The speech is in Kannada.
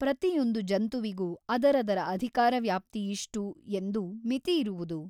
ಪ್ರತಿಯೊಂದು ಜಂತುವಿಗೂ ಅದರದರ ಅಧಿಕಾರವ್ಯಾಪ್ತಿಯಿಷ್ಟು ಎಂದು ಮಿತಿಯಿರುವುದು.